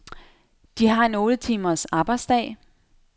De har en otte timers arbejdsdag.